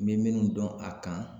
N bɛ minnu dɔn a kan